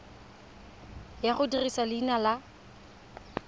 ya go dirisa leina la